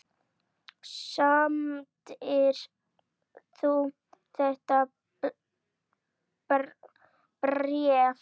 Samdir þú þetta bréf?